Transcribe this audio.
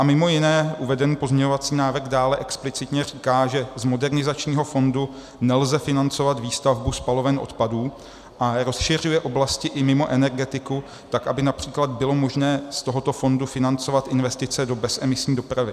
A mimo jiné uvedený pozměňovací návrh dále explicitně říká, že z modernizačního fondu nelze financovat výstavbu spaloven odpadů a rozšiřuje oblasti i mimo energetiku tak, aby například bylo možné z tohoto fondu financovat investice do bezemisní dopravy.